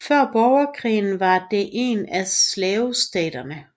Før Borgerkrigen var det en af slavestaterne